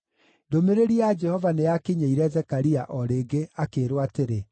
Ndũmĩrĩri ya Jehova nĩyakinyĩire Zekaria o rĩngĩ akĩĩrwo atĩrĩ: